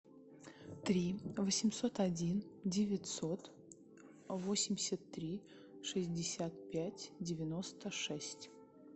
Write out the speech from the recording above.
три восемьсот один девятьсот восемьдесят три шестьдесят пять девяносто шесть